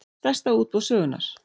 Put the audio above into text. Stærsta útboð sögunnar